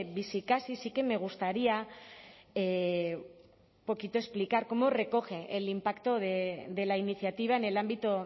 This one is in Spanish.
bizikasi sí que me gustaría un poquito explicar cómo recoge el impacto de la iniciativa en el ámbito